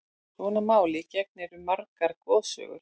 Sama máli gegnir um margar goðsögur.